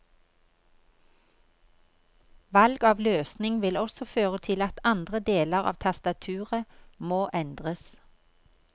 Valg av løsning vil også føre til at andre deler av tastaturet må endres.